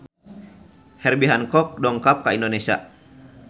Herbie Hancock dongkap ka Indonesia